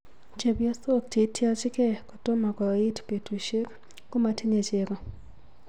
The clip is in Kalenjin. Chepyosok cheityochigei kotomo. koit petushek komotinyei chego